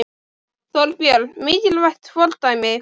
Þorbjörn: Mikilvægt fordæmi?